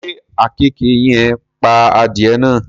Ṣé àkekèé yen pa adìẹ náà?